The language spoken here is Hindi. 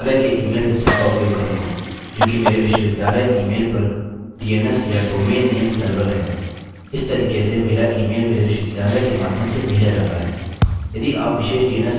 अब जैसा कि मेरे पास मेल सर्वर नहीं है मैं अपने विश्वविद्यालय के ईमेल सिस्टम का उपयोग करूँगा जो कि मेरे विश्वविद्यालय ईमेल पर dns या domain name server domain name server है